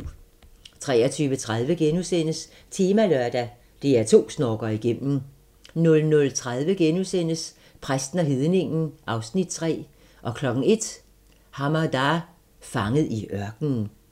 23:30: Temalørdag: DR2 snorker igennem * 00:30: Præsten og hedningen (Afs. 3)* 01:00: Hamada - fanget i ørkenen